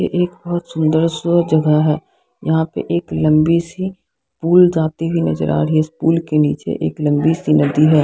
ये एक बहुत सुन्दर सो जगह है यहां पे एक लंबी सी पुल जाती हुई नजर आ रही है इस पुल के नीचे एक लंबी सी नदी है।